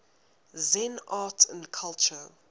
zen art and culture